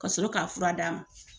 Ka sɔrɔ k'a fura d'a ma.